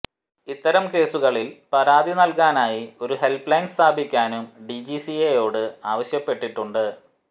ഇത്തരം കേസുകളിൽ പരാതി നൽകാനായി ഒരു ഹെൽപ് ലൈൻ സ്ഥാപിക്കാനും ഡിജിസിഎയോട് ആവശ്യപ്പെട്ടിട്ടുണ്ട്